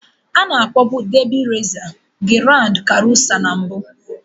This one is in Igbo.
Ana akpọọbu Debị résa Giráánd karusá na mbụ